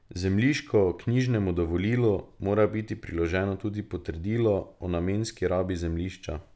Zemljiškoknjižnemu dovolilu mora biti priloženo tudi potrdilo o namenski rabi zemljišča.